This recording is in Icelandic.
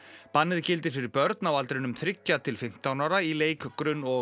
bannið gildir fyrir börn á aldrinum þriggja til fimmtán ára í leik grunn og